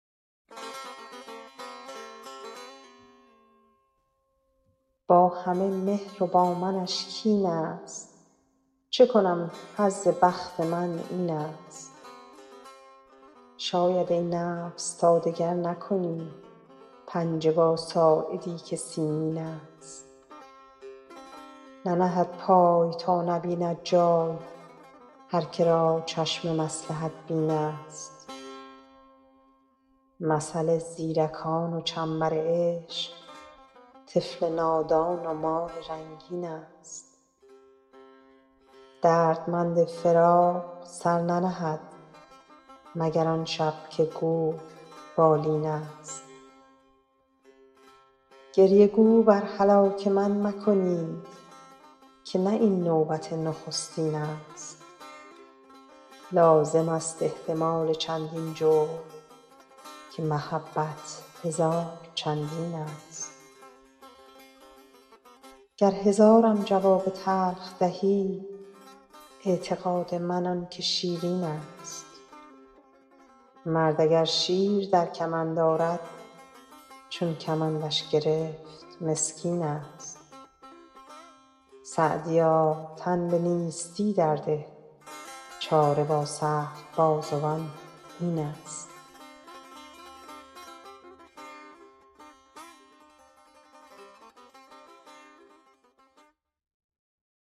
با همه مهر و با منش کین ست چه کنم حظ بخت من این ست شاید ای نفس تا دگر نکنی پنجه با ساعدی که سیمین ست ننهد پای تا نبیند جای هر که را چشم مصلحت بین ست مثل زیرکان و چنبر عشق طفل نادان و مار رنگین ست دردمند فراق سر ننهد مگر آن شب که گور بالین ست گریه گو بر هلاک من مکنید که نه این نوبت نخستین ست لازم است احتمال چندین جور که محبت هزار چندین ست گر هزارم جواب تلخ دهی اعتقاد من آن که شیرین ست مرد اگر شیر در کمند آرد چون کمندش گرفت مسکین ست سعدیا تن به نیستی در ده چاره با سخت بازوان این ست